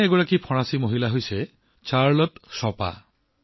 তেনে এগৰাকী মহিলা ফৰাচী মূলৰ চাৰ্লট শ্বোপা